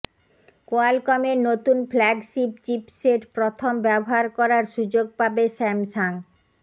কোয়ালকমের নতুন flagship chipset প্রথম ব্যবহার করার সুযোগ পাবে স্যামসাং